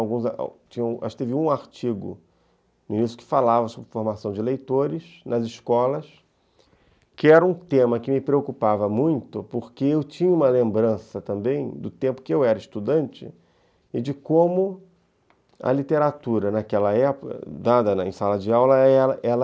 Acho que teve um artigo que falava sobre formação de leitores nas escolas, que era um tema que me preocupava muito, porque eu tinha uma lembrança também do tempo que eu era estudante e de como a literatura naquela época, dada em sala de aula, ela